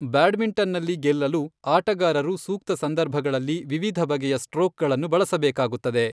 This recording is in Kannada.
ಬ್ಯಾಡ್ಮಿಂಟನ್ನಲ್ಲಿ ಗೆಲ್ಲಲು, ಆಟಗಾರರು ಸೂಕ್ತ ಸಂದರ್ಭಗಳಲ್ಲಿ ವಿವಿಧ ಬಗೆಯ ಸ್ಟ್ರೋಕ್ಗಳನ್ನು ಬಳಸಬೇಕಾಗುತ್ತದೆ.